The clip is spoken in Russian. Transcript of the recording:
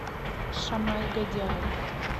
шамай годяев